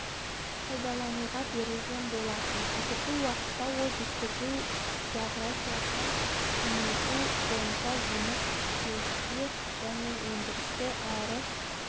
пайдалануға берілген болатын қазіргі уақытта ол жеткізу еографиясын кеңейту бойынша жұмыс істеуде және өндірісті әрі